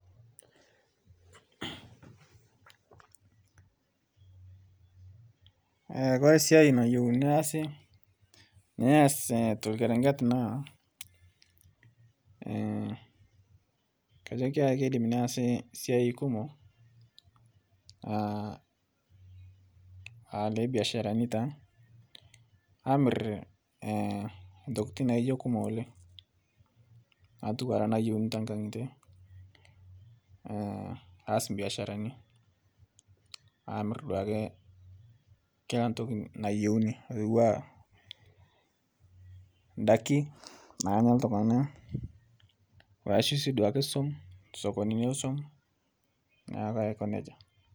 Kore siai nayau neasi , neas tolkerenket naa kajo keidim neasi siai kumoo alebiasharani taa amir ntokitin naijo kumo oleng' atuwara nayeuni tenkang'ite aas biasharani amir duake kila ntoki nayeuni atuwaa ndaki nanya ltung'ana ashuu sii duake suom sokonini esuom naake aiko neja.